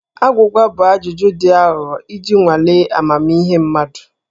Agwụgwa bụ ajụjụ dị aghụghọ iji nwalee amamihe mmadụ.